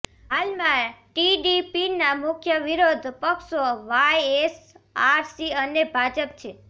હાલમાં ટીડીપીના મુખ્ય વિરોધ પક્ષો વાયએસઆરસી અને ભાજપ છે